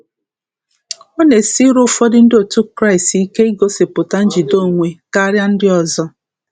Ọ na-esiri ụfọdụ ndị otu Kraịst ike igosipụta njide onwe karịa ndị ọzọ.